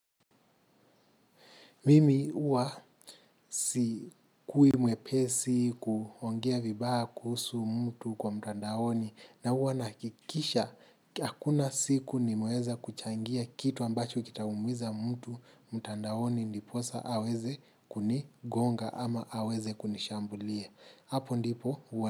Mimi huwa sikui mwepesi kuongea vibaya kuhusu mtu kwa mtandaoni na huwa nahakikisha hakuna siku nimeweza kuchangia kitu ambacho kitaumiza mtu mtandaoni ndiposa aweze kunigonga ama aweze kunishambulia. Hapo ndipo huwa.